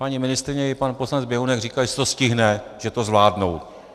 Paní ministryně i pan poslanec Běhounek říkali, že se to stihne, že to zvládnou.